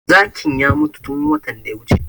Zakin ya mutu tun watan da ya wuce